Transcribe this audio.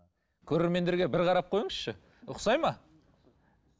көрермендерге бір қарап қойыңызшы ұқсайды ма